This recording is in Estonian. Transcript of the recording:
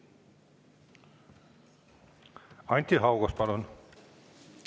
Anti Haugas, palun!